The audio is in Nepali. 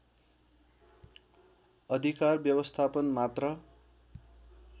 अधिकार व्यवस्थापन मात्र